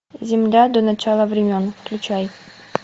земля до начала времен включай